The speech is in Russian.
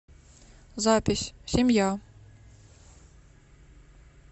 запись семья